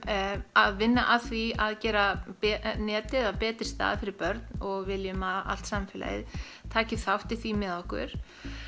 að að vinna að því að gera netið að betri stað fyrir börn og viljum að allt samfélagið taki þátt í því með okkur